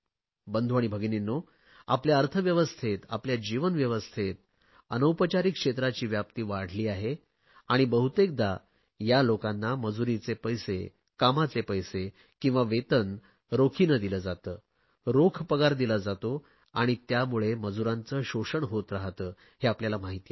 बंधू आणि भगिनींनो आपल्या अर्थव्यवस्थेत आपल्या जीवन व्यवस्थेत अनौपचारिक क्षेत्राची व्याप्ती वाढली आहे आणि बहुतेकदा या लोकांना मजूरीचे पैसे कामाचे पैसे किंवा वेतन रोखीने दिले जाते रोख पगार दिला जातो आणि त्यामुळे मजूरांचे शोषण होत राहते हे आपल्याला माहिती आहे